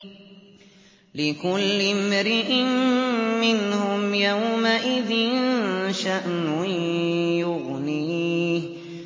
لِكُلِّ امْرِئٍ مِّنْهُمْ يَوْمَئِذٍ شَأْنٌ يُغْنِيهِ